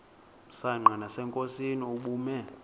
msanqa nasenkosini ubume